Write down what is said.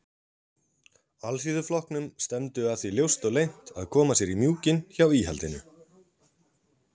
Alþýðuflokknum stefndu að því ljóst og leynt að koma sér í mjúkinn hjá íhaldinu.